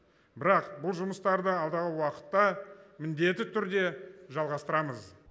бірақ бұл жұмыстарды алдағы уақытта міндетті түрде жалғастырамыз